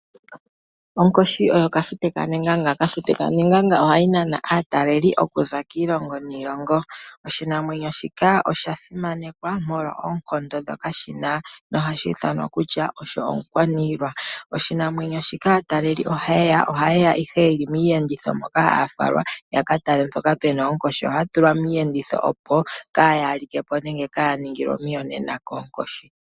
Onkoshi oyo kafute kanenganga. Kafute kanenganga oha nana aatalelipo okuza kiilongo niilongo. Oshinamwenyo shika osha simanekwa molwa oonkondo ndhoka shina, nohashi ithanwa kutya omukwaniilwa. Oshinamwenyo shika aatalelipo ohayeya ihe yeli miiyenditho moka haya falwa, yakatale mpoka puna oonkoshi. Ohaya tulwa miiyenditho opo kaayalike po nenge kaaya ningilwe omiyonena koonkoshi.